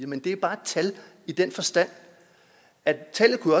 men det er bare et tal i den forstand at tallet kunne